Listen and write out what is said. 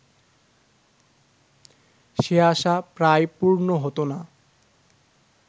সে আশা প্রায়ই পূর্ণ হত না